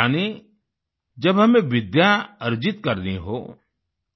यानि जब हमें विद्या अर्जित करनी हो